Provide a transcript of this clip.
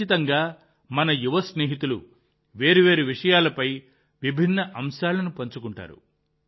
ఖచ్చితంగా మన యువ స్నేహితులు వేర్వేరు విషయాలపై విభిన్న అంశాలను పంచుకుంటారు